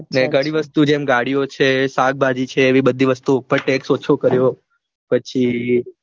ઘણી વસ્તુ જેમ ગાડીઓ છે શાકભાજી છે એ બધી વસ્તુ ઉપર text ઓછો કર્યો પછી